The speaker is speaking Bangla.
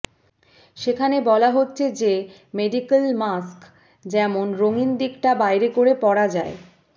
সেখানে বলা হচ্ছে যে মেডিক্যাল মাস্ক যেমন রঙিন দিকটা বাইরে করে পরা যায়